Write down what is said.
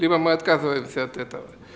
либо мы отказываемся от этого